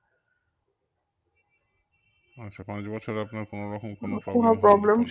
আচ্ছা পাঁচ বছর আপনার কোনো রকম কোনো